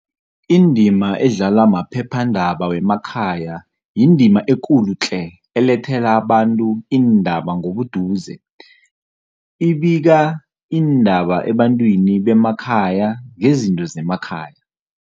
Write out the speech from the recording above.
Indima edlalwa maphephandaba wemakhaya yindima ekulu tle elethela abantu iindaba ngobuduze. Ibika iindaba ebantwini bemakhaya ngezinto zemakhaya.